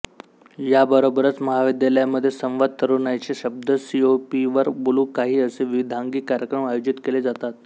याबरोबरच महाविद्यालयामध्ये संवाद तरुणाईशी शब्द सीओईपीवर बोलू काही असे विविधांगी कार्यक्रम आयोजित केले जातात